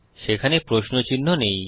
সেখানে প্রশ্ন চিহ্ন নেই